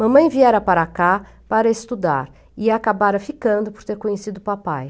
Mamãe viera para cá para estudar e acabara ficando por ter conhecido o papai.